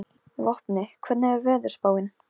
Dorri, lækkaðu í græjunum.